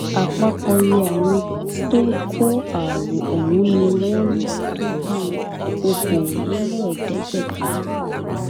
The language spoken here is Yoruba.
àpapọ iye àwọn tó kó àrùn ọhún ni wọn lò tó bíi okòóléèédégbèta